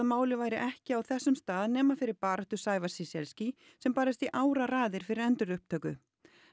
málið væri ekki á þessum stað nema fyrir baráttu Sævars sem barðist í áraraðir fyrir endurupptöku